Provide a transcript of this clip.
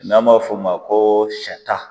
N'an b'a f'o ma ko sata